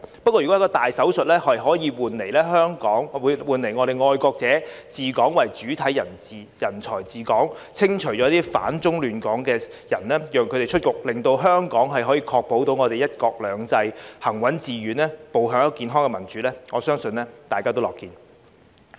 如果一個大手術可以換來愛國者為主體人才治港，清除反中亂港的人，讓他們出局，令香港確保"一國兩制"行穩致遠，步向健康的民主，我相信大家也樂見。